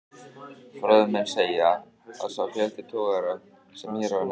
Fróðir menn segja, að sá fjöldi togara, sem hér var nefndur